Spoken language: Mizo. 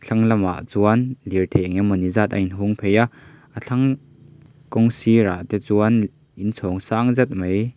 lamah chuan lirthei engemawni zat a inhung phei a a thlang kawng sir ah te chuan in chhawng sang zet mai.